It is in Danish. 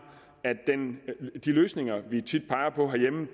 de løsninger vi tit peger på herhjemme